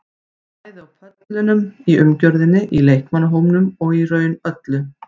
Bæði á pöllunum, í umgjörðinni, í leikmannahópnum og í raun öllu.